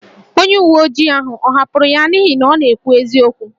Onye uwe ojii ahụ ọ̀ hapụrụ ya n’ihi na ọ na-ekwu eziokwu?